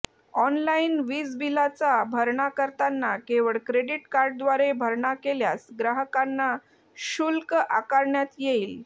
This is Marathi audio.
ऑनलाईन वीजबिलाचा भरणा करताना केवळ क्रेडीट कार्डद्वारे भरणा केल्यास ग्राहकांना शुल्क आकारण्यात येईल